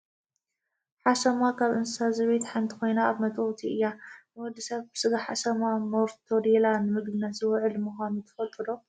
ሓሰማ ካብ እንስሳ ዘቤት ሓንቲ ኮይና ካብ መጥበውቲ እያ። ንወዲ ሰብ ስጋ ሓሰማ /ሞርቶዴላ/ ንምግብነት ዝውዕል ምኳኑ ትፈልጡ ዶ ?